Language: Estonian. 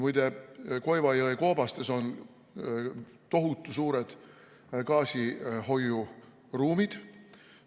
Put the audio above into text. Muide, Koiva jõe koobastes on tohutu suured gaasihoiuruumid.